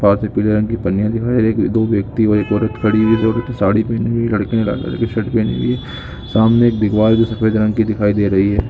साथ में पीले रंग की पनिया दिखाई दे रही है दो व्यक्ति और एक औरत खड़ी हुई है जो कि साड़ी पहनी हुई है लड़के ने लाल कलर की शर्ट पहनी हुई है सामने एक दीवर भी सफेद रंग की दिखाई दे रही ह।